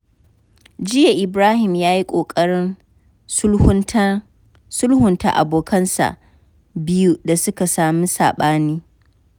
Jiya, Ibrahim ya yi ƙoƙarin sulhunta abokansa biyu da suka samu saɓani.